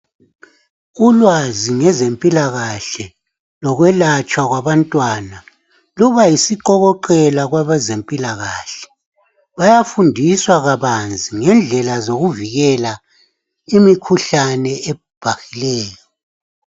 Ulwazi ngezempilakahle lokwelatshwa kwabantwana luba yisiqokoqela kwabazempilakahle bayafundiswa kabanzi ngendlela zokuvikela imikhuhlane ebhahileyo.